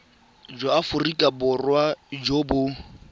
jwa aforika borwa jo bo